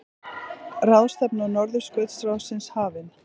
Ráðstefna Norðurskautsráðsins hafin